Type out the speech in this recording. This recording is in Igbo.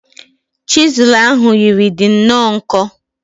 Chizul ahu yiri di nnọọ nkọ